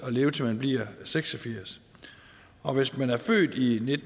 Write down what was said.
at leve til man bliver seks og firs og hvis man er født i